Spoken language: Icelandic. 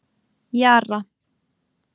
Jara